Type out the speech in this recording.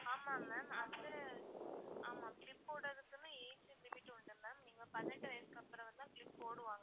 ஆமா ma'am வந்து ஆமா clip போடரதுக்குனு age limit உண்டு ma'am நீங்க பதினெட்டு வயசுக்கு அப்பறம் தான் clip போடுவாங்க.